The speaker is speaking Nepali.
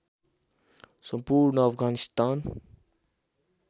सम्पूर्ण अफगानिस्तान